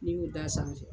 N'i y'o da sanfɛ